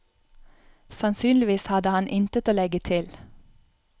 Sannsynligvis hadde han intet å legge til.